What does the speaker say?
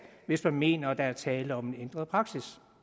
hvis man mener der er tale om en ændret praksis